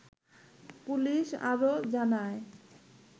police আরো জানায়